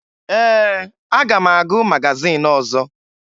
Ee, aga m agụ magazin ọzọ